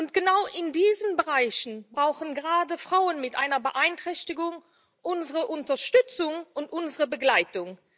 Und genau in diesen Bereichen brauchen gerade Frauen mit einer Beeinträchtigung unsere Unterstützung und unsere Begleitung.